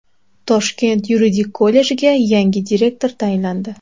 Toshkent yuridik kollejiga yangi direktor tayinlandi.